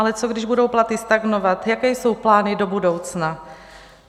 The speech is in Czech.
Ale co když budou platy stagnovat, jaké jsou plány do budoucna?